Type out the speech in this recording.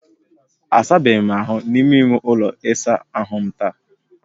Asabeghị m ahụ n'ime ime ụlọ ịsa ahu m taa